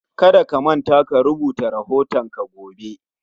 Kada ka manta ka rubuta rahoton ka gobe